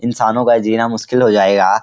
इंसानों का जीना मुश्किल हो जायेगा।